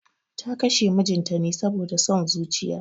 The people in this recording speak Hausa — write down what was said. Ta kashe mijinta ne saboda son zuciya